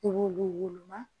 U b'olu woloma